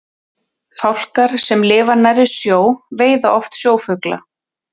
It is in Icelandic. fálkar sem lifa nærri sjó veiða oft sjófugla